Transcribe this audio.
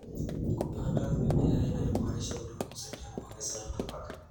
Kupanda mimea inayoboresha udongo husaidia kuongeza rutuba.